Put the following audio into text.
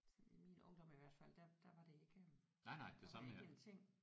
Sådan i min ungdom i hvert fald der der var det ikke øh der var det ikke en ting